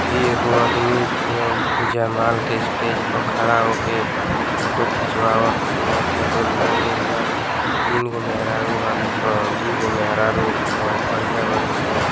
इ एगो आदमी अ जैमाल के स्टेज प खड़ा होके फोटो खींचवावत में फोटो लिहल गइल बा। तीन गो मेहरारू वाली सं। दुगो मेहरारू अ करिया वाली स।